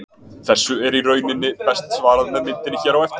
Þessu er í rauninni best svarað með myndinni hér á eftir.